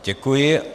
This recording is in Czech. Děkuji.